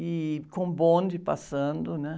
E com bonde passando, né?